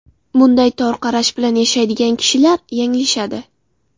Bunday tor qarash bilan yashaydigan kishilar yanglishadi.